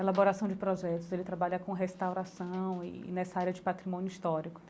Elaboração de Projetos, ele trabalha com restauração e nessa área de patrimônio histórico.